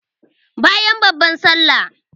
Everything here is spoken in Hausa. Bayan babban sallah